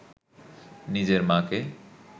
নিজের মাকে